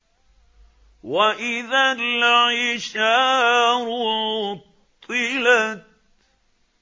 وَإِذَا الْعِشَارُ عُطِّلَتْ